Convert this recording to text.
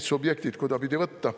Või subjektid, kuidaspidi võtta.